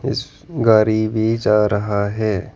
इस गारी भी जा रहा है।